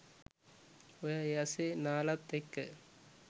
ඔයා ඒ අස්සෙ නාලත් එක්ක